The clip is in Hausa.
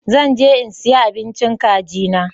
Zan je in siya abincin kagi na.